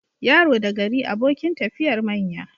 Yaro da gari abokin tafiyar manya.